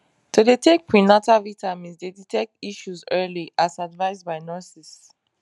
to dey take prenatal vitamins dey detect issues early as advised by nurses